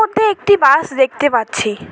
দূরে একটি বাস দেখতে পাচ্ছি।